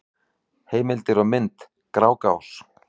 Heimildir og mynd: Grágás.